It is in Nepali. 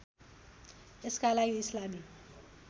यसका लागि इस्लामी